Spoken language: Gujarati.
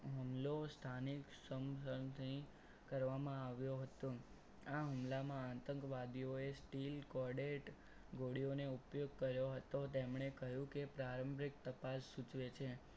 હુમલો સ્થાનિક સરસી કરવામાં આવ્યો હતો આ હુમલામાં આતંકવાદીઓ steel coded ગોળીઓનો ઉપયોગ કર્યો હતો તેમણે કહ્યું કે પ્રારંભિક તપાસ સૂચવે છે.